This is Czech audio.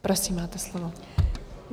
Prosím, máte slovo.